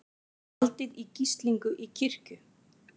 Haldið í gíslingu í kirkju